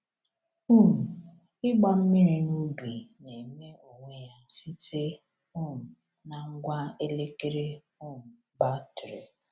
um Ịgba mmiri na ubi na-eme onwe ya site um na ngwa elekere um batrị.